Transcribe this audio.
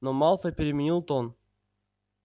но малфой переменил тон